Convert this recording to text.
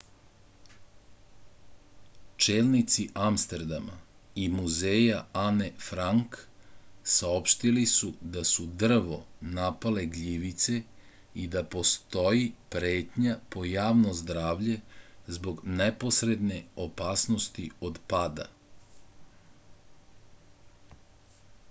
čelnici amsterdama i muzeja ane frank saopštili su da su drvo napale gljivice i da postoji pretnja po javno zdravlje zbog neposredne opasnosti od pada